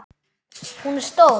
Hún er stór.